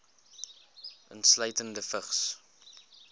insluitende vigs